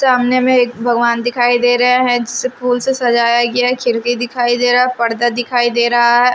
सामने में एक भगवान दिखाई दे रहे हैं जिसे फूल से सजाया गया है खिरकी दिखाई दे रहा पर्दा दिखाई दे रहा है ।